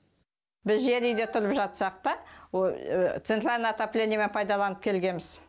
біз жер үйде тұрып жатсақ та центральный отоплениемен пайдаланып келгеміз